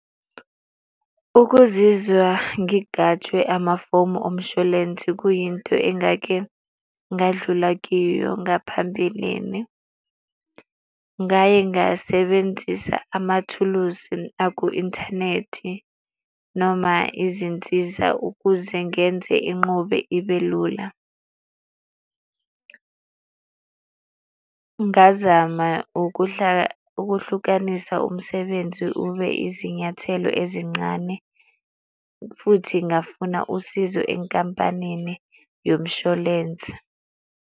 Ukuzizwa ngigajwe amafomu omshwalense kuyinto engake ngadlula kiyo ngaphambilini. Ngaye ngasebenzisa amathuluzi aku-inthanethi noma izinsiza, ukuze ngenze enqobe ibe lula. Ngazama ukuhlukanisa umsebenzi ube izinyathelo ezincane futhi ngafuna usizo enkampanini yomshwalense.